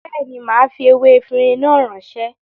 Béèni, màá fi ewé efinrin náà ránṣẹ́